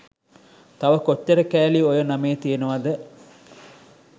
තව කොච්චර කෑලි ඔය නමේ තියනවද?